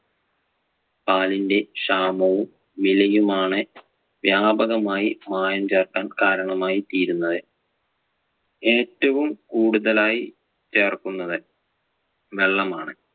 പാലിന്‍റെ ക്ഷാമവും വിലയും ആണ് വ്യാപകമായി മായം ചേർക്കാൻ കാരണമായി തീരുന്നത്. ഏറ്റവും കൂടുതലായി ചേർക്കുന്നത് വെള്ളം ആണ്.